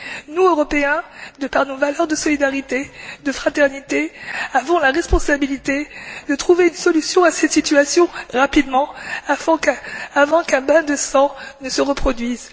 Nous, Européens, de par nos valeurs de solidarité, de fraternité, avons la responsabilité de trouver une solution à cette situation rapidement, avant qu'un bain de sang ne se reproduise.